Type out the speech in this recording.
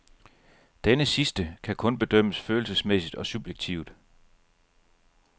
Denne sidste kan kun bedømmes følelsesmæssigt og subjektivt.